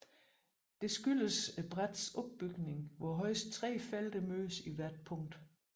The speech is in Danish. Det skyldes brættets opbygning hvor højst tre felter mødes i hvert punkt